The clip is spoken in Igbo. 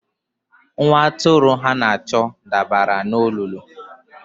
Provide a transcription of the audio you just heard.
Nwa atụrụ ha na-achọ dabara n'olulu.